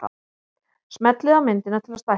Smellið á myndina til að stækka hana.